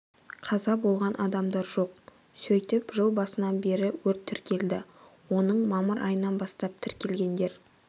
қаза болған адамдар жоқ сөйтіп жыл басынан бері өрт тіркелді оның мамыр айынан бастап тіркелгендер